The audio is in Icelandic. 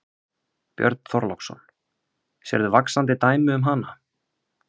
Björn Þorláksson: Sérð þú vaxandi dæmi um hana?